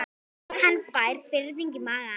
Hann fær fiðring í magann.